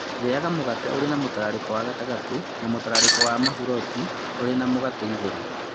Rĩaga mũgate ũrĩ na mũtararĩko wa gatagatĩ na mũtararĩko wa mũburoti ũrĩ na mũgate igũrũ